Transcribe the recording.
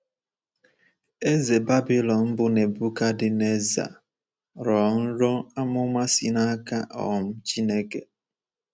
Eze Babilọn bụ́ Nebuchadnezzar rọọ nrọ amụma si n'aka um Chineke.